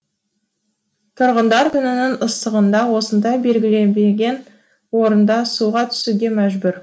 тұрғындар күннің ыстығында осындай белгіленбеген орында суға түсуге мәжбүр